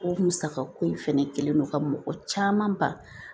O musaka ko in fɛnɛ kɛlen don ka mɔgɔ caman ba